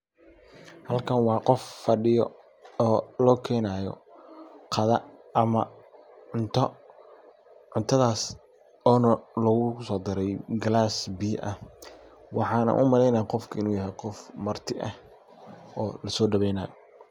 Qofkan waa qof fadiyo oo lo kenayo qadha. Cunto ,cuntadhas oo lagu soo daray gilas biya ah waxana u maleynaya qofka inu yahay qof marti ah oo laso daweynayo.